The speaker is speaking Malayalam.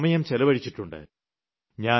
ഒരുപാട് സമയം ചെലവഴിച്ചിട്ടുണ്ട്